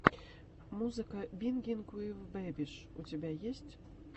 музыка бингинг уив бэбиш у тебя есть